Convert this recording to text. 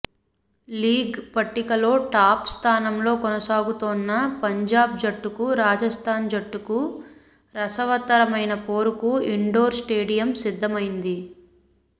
league పట్టికలో top స్థానంలో కొనసాగుతోన్న పంజాబ్ జట్టుకు రాజస్థాన్ జట్టుకు రసవత్తరమైన పోరుకు ఇండోర్ స్టేడియం సిద్ధమైంది